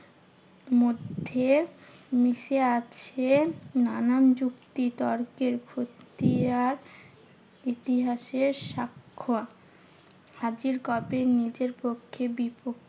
মধ্যে মিশে আছে নানান যুক্তি তর্কের খতিয়ান। ইতিহাসের সাক্ষ হাজির কবে নিজের পক্ষে বিপক্ষে